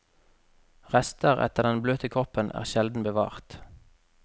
Rester etter den bløte kroppen er sjelden bevart.